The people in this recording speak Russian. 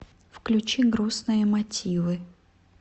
включи грустные мотивы